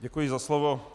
Děkuji za slovo.